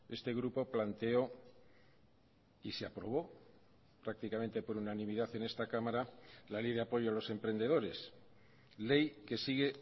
este grupo planteó y se aprobó prácticamente por unanimidad en esta cámara la ley de apoyo a los emprendedores ley que sigue